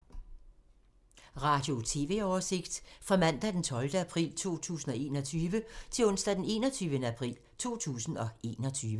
Radio/TV oversigt fra mandag d. 12. april 2021 til onsdag d. 21. april 2021